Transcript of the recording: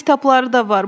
Hələ kitabları da var.